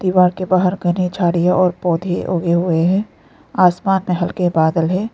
द्वारा के बाहर घने झाड़ियां और पौधे उगे हुए हैं आसमान में हल्के के बादल है।